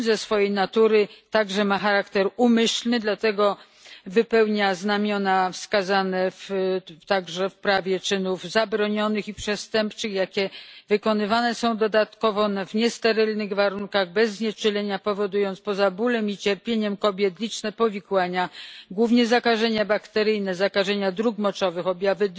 Proceder ten ma także charakter umyślny, dlatego ma znamiona wskazane w prawie czynów zabronionych i przestępczych. Wykonuje się go ponadto w niesterylnych warunkach, bez znieczulenia, powodując, poza bólem i cierpieniem kobiet, liczne powikłania, głównie zakażenia bakteryjne, zakażenia dróg moczowych, objawy